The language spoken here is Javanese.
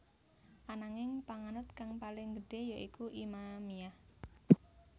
Ananging panganut kang paling gedhé ya iku Imamiyah